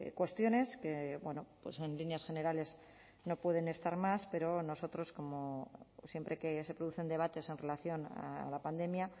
cuestiones que en líneas generales no pueden estar más pero nosotros como siempre que se producen debates en relación a la pandemia